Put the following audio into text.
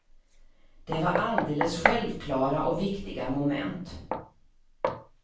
Det var alldeles självklara och viktiga moment.